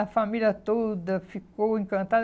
A família toda ficou encantada.